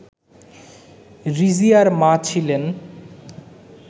রিজিয়ার মা ছিলেন